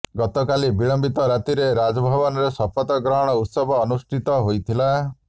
ଗତକାଲି ବିଳମ୍ବିତ ରାତିରେ ରାଜଭବନରେ ଶପଥ ଗ୍ରହଣ ଉତ୍ସବ ଅନୁଷ୍ଠିତ ହୋଇଥିଲା